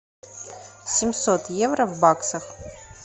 семьсот евро в баксах